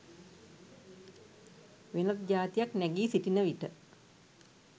වෙනත් ජාතියක් නැගී සිටින විට